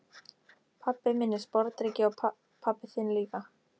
Pabbi minn er sporðdreki og pabbi þinn líka.